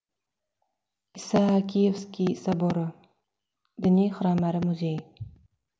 исаакиевский соборы діни храм әрі музей